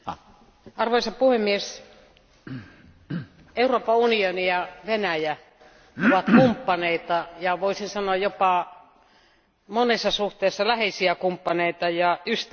Arvoisa puhemies, Euroopan unioni ja Venäjä ovat kumppaneita ja voisi sanoa jopa monessa suhteessa läheisiä kumppaneita ja ystäviä.